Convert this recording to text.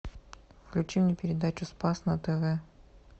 включи мне передачу спас на тв